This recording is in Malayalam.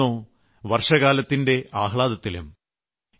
എന്നാൽ ഇന്നോ വർഷകാലത്തിന്റെ ആഹ്ലാദത്തിലും